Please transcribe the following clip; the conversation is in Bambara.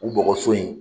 U bɔgɔso in